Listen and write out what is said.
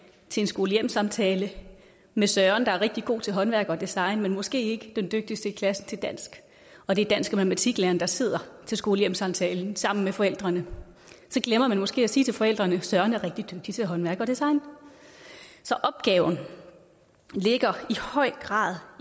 til en skole hjem samtale med søren der er rigtig god til håndværk og design men måske ikke er den dygtigste i klassen til dansk og det er dansk og matematiklæreren der sidder til skole hjem samtalen sammen med forældrene glemmer man måske at sige til forældrene at søren er rigtig dygtig til håndværk og design så opgaven ligger i høj grad